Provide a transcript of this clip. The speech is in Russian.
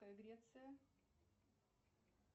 греция